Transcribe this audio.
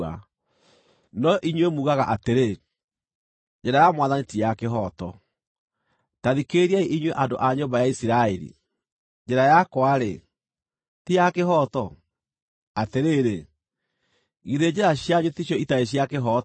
“No inyuĩ muugaga atĩrĩ, ‘Njĩra ya Mwathani ti ya kĩhooto.’ Ta thikĩrĩriai inyuĩ andũ a nyũmba ya Isiraeli: Njĩra yakwa-rĩ, ti ya kĩhooto? Atĩrĩrĩ, githĩ njĩra cianyu ticio itarĩ cia kĩhooto?